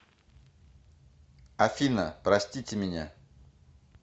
афина простите меня